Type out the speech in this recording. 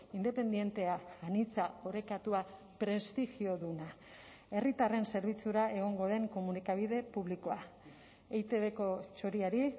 independentea anitza orekatua prestigioduna herritarren zerbitzura egongo den komunikabide publikoa eitbko txoriari